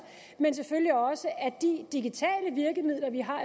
de digitale virkemidler vi har